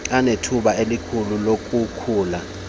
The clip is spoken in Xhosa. anethuba elikhulu lokukhula